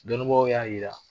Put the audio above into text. Dɔnnibaw y'a jira